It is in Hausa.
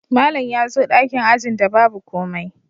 Malam ya zo dakin ajin da babu komai